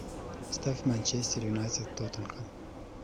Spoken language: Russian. ставь манчестер юнайтед тоттенхэм